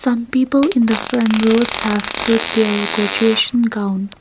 some people the front rows have put there graduation gown.